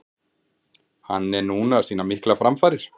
Hann er núna að sýna miklar framfarir.